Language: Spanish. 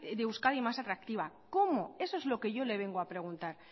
de euskadi más atractiva cómo eso es lo que yo le vengo a preguntar